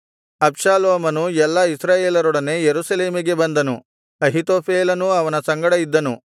ಅಬ್ಷಾಲೋಮನು ಎಲ್ಲಾ ಇಸ್ರಾಯೇಲರೊಡನೆ ಯೆರೂಸಲೇಮಿಗೆ ಬಂದನು ಅಹೀತೋಫೇಲನೂ ಅವನ ಸಂಗಡ ಇದ್ದನು